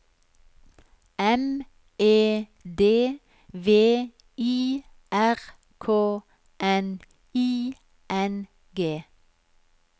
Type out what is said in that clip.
M E D V I R K N I N G